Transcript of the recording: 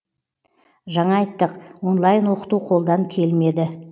жаңа айттық онлайн оқыту қолдан келмеді